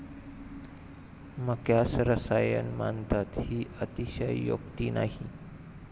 मक्यास रसायन मानतात ही अतिशयोक्ती नाही.